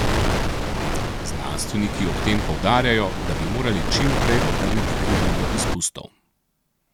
Znanstveniki ob tem poudarjajo, da bi morali čim prej obrniti krivuljo izpustov.